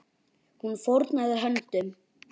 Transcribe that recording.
Hún fórnaði höndum.